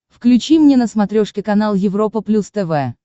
включи мне на смотрешке канал европа плюс тв